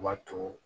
U b'a to